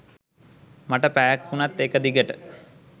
මට පැයක් උනත් එක දිගට